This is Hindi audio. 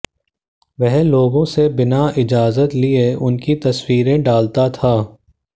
वह लोगों से बिना इजाजत लिए उनकी तस्वीरें डालता था